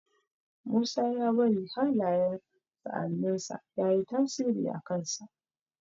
Musa ya bari hallayen sa'annin sa yayi tasiri a kan sa